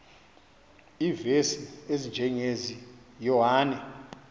iivesi ezinjengezi yohane